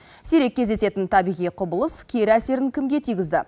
сирек кездесетін табиғи құбылыс кері әсерін кімге тигізді